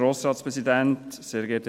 Kommissionssprecher